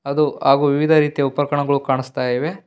ಅದು ಹಾಗು ವಿವಿಧ ರೀತಿಯ ಉಪಕರಣಗಳು ಕಾಣಿಸ್ತಾ ಇವೆ.